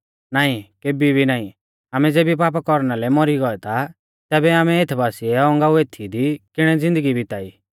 नाईं केभी भी नाईं आमै ज़ेबी पापा कौरना लै मौरी गौऐ ता तैबै आमै एथ बासिऐ औगांऊ एथीई दी किणी ज़िन्दगी बिताई